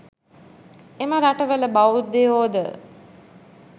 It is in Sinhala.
එම රටවල බෞද්ධයෝ ද